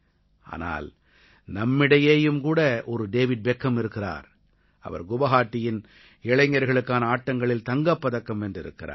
ஆனால் நம்மிடையேயும் கூட ஒரு டேவிட் பெக்கம் இருக்கிறார் அவர் குவாஹாட்டியின் இளைஞர்களுக்கான ஆட்டங்களில் தங்கப் பதக்கம் வென்றிருக்கிறார்